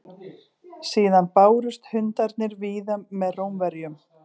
síðan bárust hundarnir víða með rómverjum